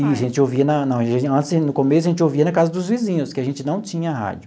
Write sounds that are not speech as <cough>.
E a gente ouvia na na <unintelligible> no começo, a gente ouvia na casa dos vizinhos, que a gente não tinha rádio.